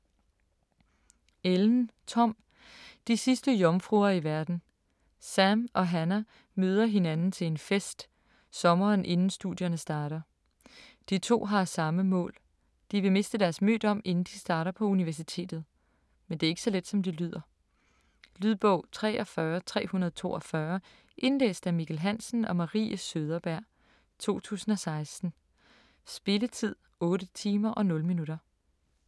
Ellen, Tom: De sidste jomfruer i verden Sam og Hannah møder hinanden til en fest, sommeren inden studierne starter. De to har samme mål, de vil miste deres mødom inden de starter på universitetet. Men det er ikke så let, som det lyder. Lydbog 43342 Indlæst af Mikkel Hansen og Marie Søderberg, 2016. Spilletid: 8 timer, 0 minutter.